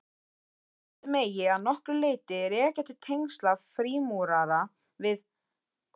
Þýskalandi megi að nokkru leyti rekja til tengsla frímúrara við